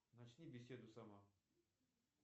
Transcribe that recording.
начни беседу сама